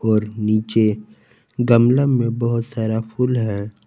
और नीचे गमला में बहुत सारा फूल है।